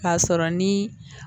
K'a sɔrɔ ni